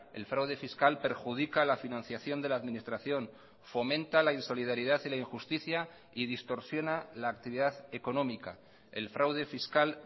el fraude fiscal perjudica la financiación de la administración fomenta la insolidaridad y la injusticia y distorsiona la actividad económica el fraude fiscal